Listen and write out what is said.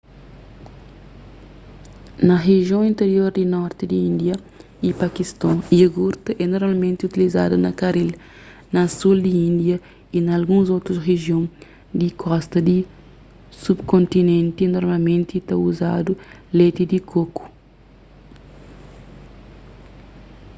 na rijion interior di norti di índia y pakiston iogurti é normalmenti utilizadu na karil na sul di índia y na alguns otus rijion di kosta di subkontinenti normalmenti ta uzadu leti di koku